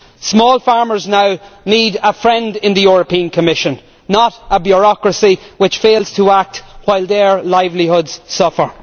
Small farmers now need a friend in the European Commission, not a bureaucracy which fails to act while their livelihoods suffer.